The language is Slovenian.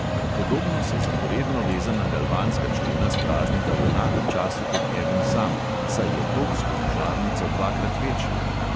Podobno se zaporedno vezana galvanska člena spraznita v enakem času kot eden sam, saj je tok skozi žarnico dvakrat večji.